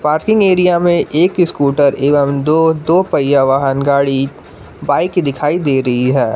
Parking area में एक scooter एवं दो दो पहिया वाहन गाड़ी बाइक दिखाई दे रही है।